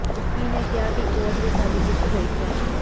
ਤੁੱਕੀ ਨੇ ਕਿਹਾ ਕਿ ਕੋਰਟ ਵਿੱਚ ਸਾਡੀ ਜਿੱਤ ਹੋਈ ਹੈ